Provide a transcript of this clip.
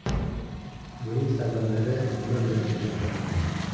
Buning sabablari nima bilan izohlanadi?